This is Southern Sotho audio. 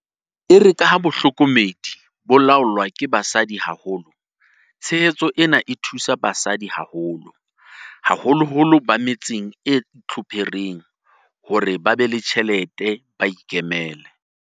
Erekaha tsa bohlokomedi di laolwa ke basadi haholo, tshehetso ena e thusa basadi haholo, haholoholo ba me tseng e itlhophereng, hore ba be le ditjhelete ba ikemele.